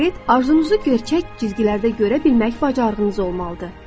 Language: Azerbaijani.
Konkret arzunuzu gerçək cizgilərdə görə bilmək bacarığınız olmalıdır.